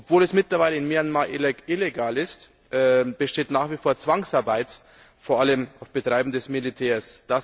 Obwohl es mittlerweile in Myanmar illegal ist, besteht nach wie vor Zwangsarbeit, vor allem auf Betreiben des Militärs.